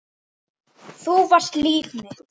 Þú varst líf mitt.